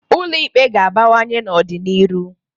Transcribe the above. Ụlọ Ikpe ga-abawanye n'ọ dị n'iru.